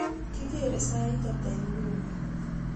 kigeere sait ata inguni